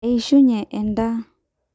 eishunye endaa